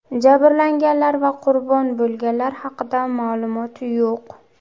Jabrlanganlar va qurbon bo‘lganlar haqida ma’lumot yo‘q.